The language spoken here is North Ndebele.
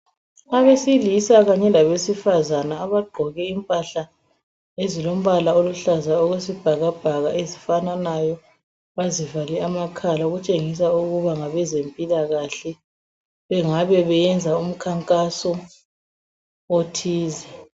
Abesilisa kanye labesifazana abagqoke impahla ezilombala oluhlaza okwesibhakabhaka ezifananayo bazivale amakhala okutshengisa ukuba ngabezempilakahle bengabe beyenza umkhankaso othize.